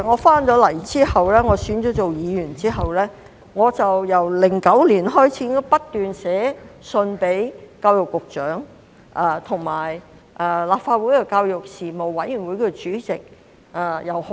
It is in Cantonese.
當我回港並當選議員後，自2009年起已不斷致函教育局局長和立法會的教育事務委員會主席。